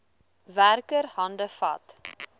werker hande vat